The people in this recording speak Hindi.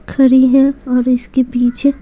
खड़ी हैं और इसके पीछे--